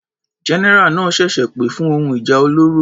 General náà ṣẹ̀ṣẹ̀ pè fún ohun ìjà olóró.